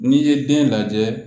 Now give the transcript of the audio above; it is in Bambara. N'i ye den lajɛ